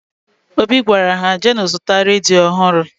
Obi gwara ha, jeenụ zụta redio ọhụrụ!